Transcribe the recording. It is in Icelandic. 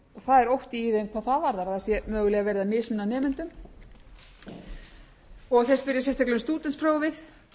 er ótti í þeim hvað það varðar að það sé mögulega verið að mismuna nemendum og þeir spyrja sérstaklega um stúdentsprófið